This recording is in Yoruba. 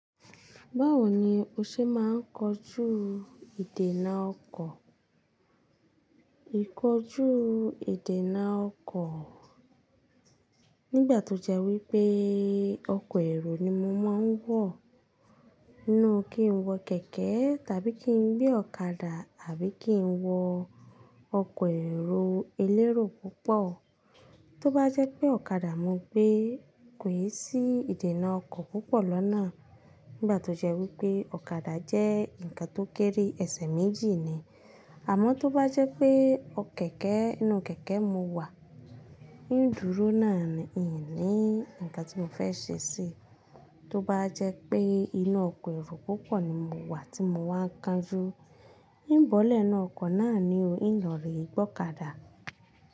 Báwo ni o ṣe máa ń kojú ìdènà ọkọ̀? Íkọjú ìdènà ọkọ̀ nígbà tó jẹ́ wí pé ọkọ̀ èrò ni mo máa ń wọ, inú kí ń wọ kẹ̀kẹ́ tàbí kí ń gbé ọ̀kadà àbí kí ń wọ ọkọ̀ èrò elérò púpọ̀. Tóbá jẹ́ pé ọ̀kadà mo gbé, ko i sí ìdènà ọkọ̀ púpọ̀ lọ́nà nígbà tó jẹ́ wí pé ọ̀kadà jẹ́ ǹkan tó kéré ẹsẹ̀ méjì ni. Àmọ́ tó bá jẹ́ pé kẹ̀kẹ́, inú kẹ̀kẹ́ mo wà, ń dúró náà ni n ni ǹkan tí mo fẹ́ ṣe ṣi. Tóbá jẹ́ pé inú ọkọ̀ èrò púpọ̀ ni mo wà tí mo wá ń kanjú, n bọ́lẹ̀ inú ọkọ̀ náà ni ó ń lọ rí gbọ̀kadà.